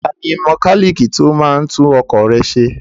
Tani mẹkálíìkì tí ó máa ń tún ọkọ̀ rẹ ṣe?